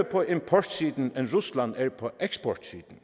på importsiden end rusland er på eksportsiden